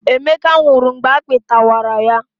Emeka nwụrụ mgbe akpị tarawa ya